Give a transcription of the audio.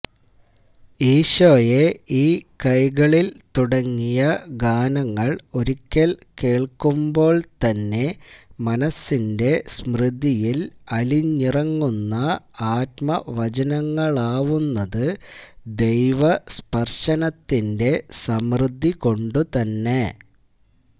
ഈശോയെ ഈ കൈകളില് തുടങ്ങിയ ഗാനങ്ങള് ഒരിയ്ക്കല് കേള്ക്കുമ്പോള്തന്നെ മനസിന്റെ സ്മൃതിയില് അലിഞ്ഞിറങ്ങുന്ന ആത്മവചനങ്ങളാവുന്നത് ദൈവസ്പര്ശനത്തിന്റെ സമൃദ്ധികൊണ്ടുതന്നെ